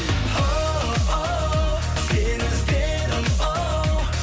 оу сені іздедім оу